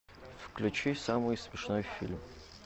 включи самый смешной фильм